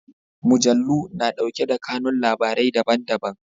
Mujallu na ɗauke da kanun labarai daban-daban.